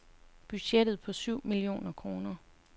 Budgettet på syv millioner kroner.